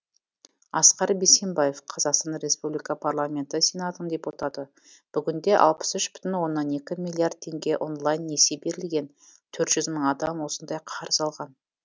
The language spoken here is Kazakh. асқар бейсенбаев қазақстан республика парламенті сенатының депутаты бүгінде алпыс үш бүтін оннан екі миллиард теңге онлайн несие берілген төрт жүз мың адам осындай қарыз алған